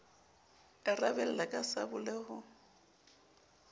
e rabella ka sabole ho